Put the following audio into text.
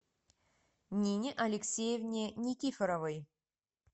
нине алексеевне никифоровой